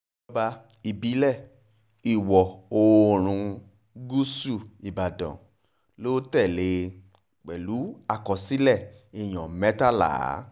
ìjọba ìbílẹ̀ ìwọ̀-oòrùn gúúsù ìbàdàn ló tẹ̀lé e pẹ̀lú àkọsílẹ̀ èèyàn mẹ́tàlá